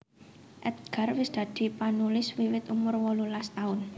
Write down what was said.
Edgar wis dadi panulis wiwit umur wolulas taun